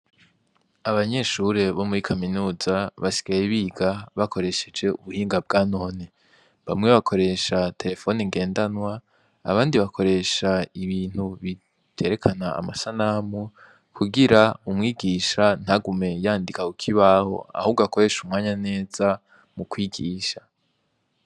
Abanyeshure bo muri kaminuza basigaye bakoresheje ubuhinga bwa none, bamwe bakoresha terefone ngendanwa abandi bakoresha ibintu biterekana amasanamu kugirango umwigisha ntagume yandika kukibaho ahubwo akoreshe umwanya neza wo kubigisha.